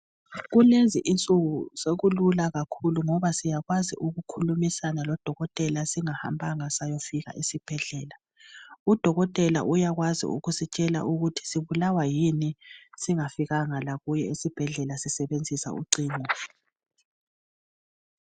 Kulezi insuku sekulula kakhulu ngoba siyakwazi ukukhulumisana lodokotela singahambanga sayafika esibhedlela ,udokotela uyakwazi ukusitshela ukuthi sibulawa yini singafikanga lakuye esibhedlela sisebenzisa ucingo